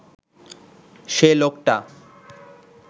সে লোকটা